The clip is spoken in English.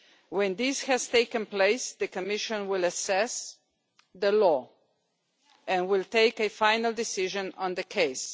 When this has taken place, the Commission will assess the law and will take a final decision on the case.